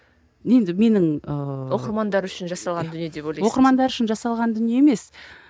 енді менің ыыы оқырмандар үшін жасалған дүние деп ойлайсың оқырмандар үшін жасалған дүние емес